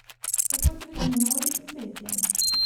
Tako je tudi z menoj in petjem.